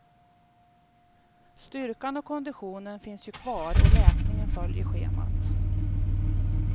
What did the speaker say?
Styrkan och konditionen finns ju kvar och läkningen följer schemat.